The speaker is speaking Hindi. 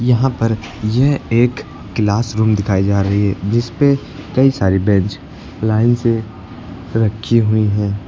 यहां पर यह एक क्लास रूम दिखाई जा रही है जिस पे कई सारी बेंच लाइन से रखी हुई है।